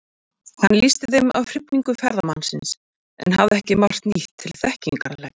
Hann lýsti þeim af hrifningu ferðamannsins, en hafði ekki margt nýtt til þekkingar að leggja.